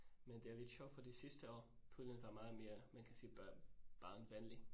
Men det er lidt sjovt fordi sidste år. Poolen var meget mere man kan sige børnevenlig